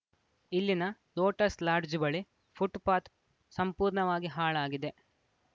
ಇಲ್ಲಿನ Lotus Lodge ಬಳಿ footpath ಸಂಪೂರ್ಣವಾಗಿ ಹಾಳಾಗಿದೆ